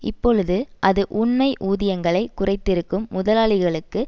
இப்பொழுது அது உண்மை ஊதியங்களை குறைத்திருக்கும் முதலாளிகளுக்கு